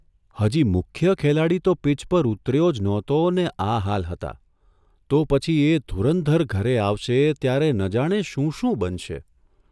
હજી મુખ્ય ખેલાડી તો પીચ પર ઊતર્યો જ નહોતો ને આ હાલ હતા તો પછી એ ધુરંધર ઘરે આવશે ત્યારે ન જાણે શું શું બનશે?